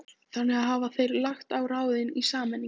Þannig hafa þeir lagt á ráðin í sameiningu